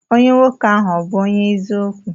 Onye nwoke ahi ọbu onye eziokwu?